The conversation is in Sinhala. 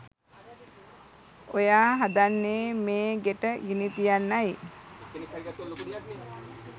ඔයා හදන්නේ මේ ගෙට ගිනි තියන්නයි